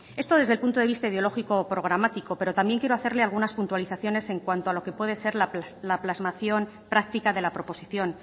esto desde el punto de vista ideológico o programático pero también quiero hacerle algunas puntualizaciones en cuanto a lo que puede ser la plasmación práctica de la proposición